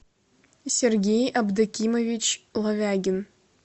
сергей абдакимович лавягин